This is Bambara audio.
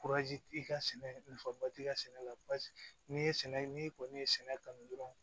i ka sɛnɛ nafaba t'i ka sɛnɛ la basi n'i ye sɛnɛ n'i kɔni ye sɛnɛ kanu dɔrɔn